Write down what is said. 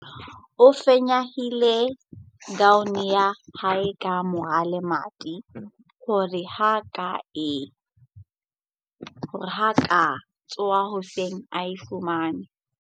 O fanyehile kaone ya hae ka mora lemati hore ha a ka tsoha a e fumane.